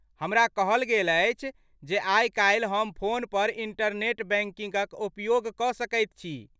हमरा कहल गेल अछि जे आइ काल्हि हम फोन पर इंटरनेट बैंकिंगक उपयोग कऽ सकैत छी।